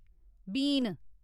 बीन